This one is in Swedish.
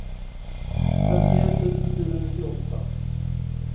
femtioett tusen fyrahundranittioåtta